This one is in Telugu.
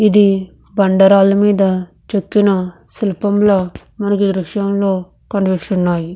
ఇది బండరాళ్ళ మీద చెక్కిన శిల్పంలో మనకి దృశ్యంలో కనిపిస్తున్నాయి.